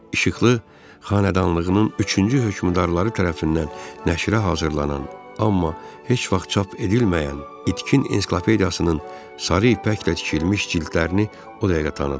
İşıqlı xanedanlığının üçüncü hökmdarları tərəfindən nəşrə hazırlanan, amma heç vaxt çap edilməyən itkin ensiklopediyasının sarı ipəklə tikilmiş cildlərini o dəqiqə tanıdım.